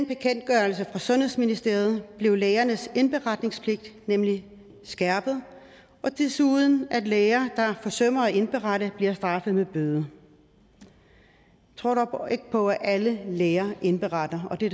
bekendtgørelse fra sundhedsministeriet blev lægernes indberetningspligt nemlig skærpet og desuden at læger der forsømmer at indberette bliver straffet med bøde jeg tror dog ikke på at alle læger indberetter og det